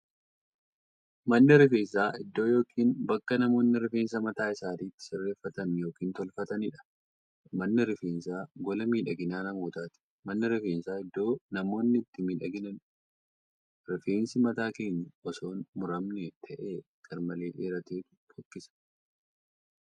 Manni rifeensaa iddoo yookiin bakka namoonni rifeensa mataa isaanii itti sirreeffatan yookiin tolfataniidha. Manni rifeensaa gola miidhagina namootaati. Manni rifeensaa iddoo namoonni itti miidhaganiidha. Rifeensi mataa keenyaa osoon muramne ta'ee garmalee dheerateetu fokkisa.